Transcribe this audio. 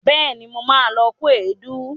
Bẹẹ̀ni, mo ma lọ kó èédú